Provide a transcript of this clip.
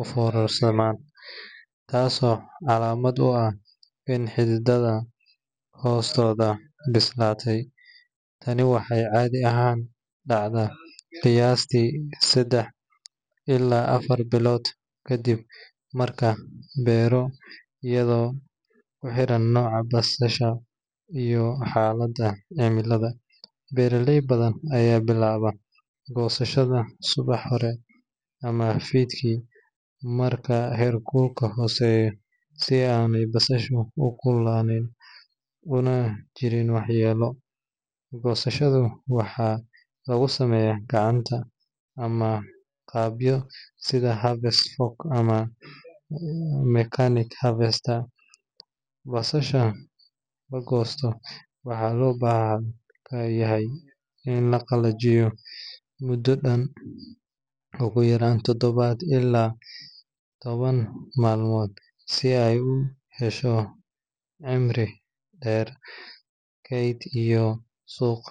uforarsaman, tas oo calamad uah in hidhidadha hostodha bislatay,,tani waxey cadhi ahan dacda qiyasti sidax ilah afar bilod kadib marka bero ayadho uxeran noca basasha iyo xalada cimilada beraley badhan aya bilaba gosashada subaxhore amah fidki marka her kulka hoseyo sii aan basashu ukululanin una jirin wax yelo, gosashadu waxa lagusameya gacan amah qabyo sidhaa harvest fork mechanic harvest ah basasha lagosto, waxa loo bahanyahy ini laqalajiyo mudo dan ogu yaran totobad ila toban malmod si ay uhesho cimri der keyd iyo suq